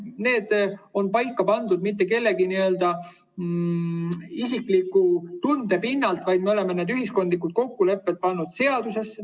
Need ei ole paika pandud mitte kellelegi isikliku tunde pinnalt, vaid me oleme need ühiskondlikud kokkulepped pannud seadusesse.